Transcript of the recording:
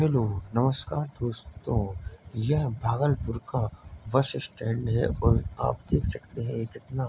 hello नमस्कार दोस्तों यह भागलपुर का बस स्टैंड है और आप देख सकते हैं कितना --